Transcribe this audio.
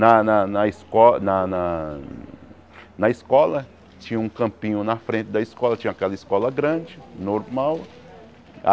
Na na na esco na na na escola tinha um campinho na frente da escola, tinha aquela escola grande, normal.